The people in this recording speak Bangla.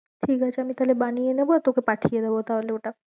ঠিক আছে আমি তাহলে বানিয়ে নেবো আর তোকে পাঠিয়ে দেব তাহলে ওটা।